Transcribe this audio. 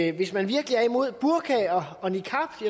at hvis man virkelig er imod burka og niqab så